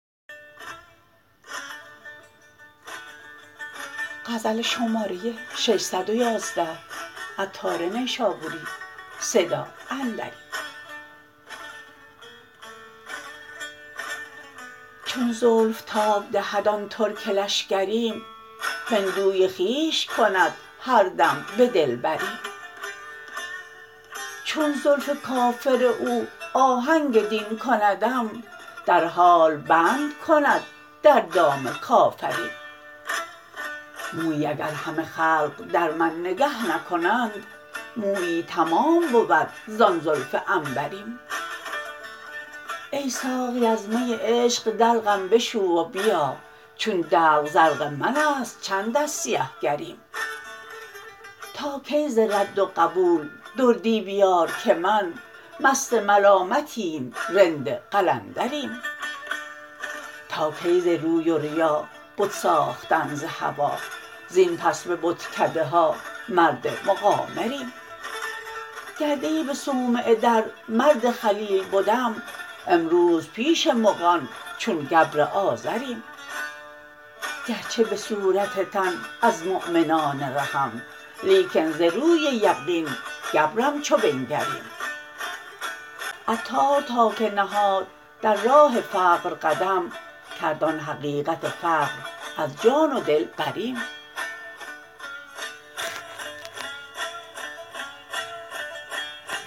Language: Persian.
چون زلف تاب دهد آن ترک لشکریم هندوی خویش کند هر دم به دلبریم چون زلف کافر او آهنگ دین کندم در حال بند کند در دام کافریم مویی اگر همه خلق در من نگه نکنند مویی تمام بود زان زلف عنبریم ای ساقی از می عشق دلقم بشو و بیا چون دلق زرق من است چند از سیه گریم تا کی ز رد و قبول دردی بیار که من مست ملامتیم رند قلندریم تا کی ز روی و ریا بت ساختن ز هوا زین پس به بتکده ها مرد مقامریم گر دی به صومعه در مرد خلیل بدم امروز پیش مغان چون گبر آزریم گرچه به صورت تن از مؤمنان رهم لیکن ز روی یقین گبرم چو بنگریم عطار تا که نهاد در راه فقر قدم کرد آن حقیقت فقر از جان و دل بریم